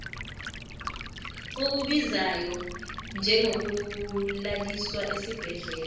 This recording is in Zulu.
okubizayo njengokulaliswa esibhedlela